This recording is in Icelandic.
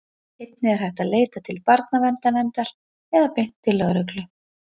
einnig er hægt að leita til barnaverndarnefndar eða beint til lögreglu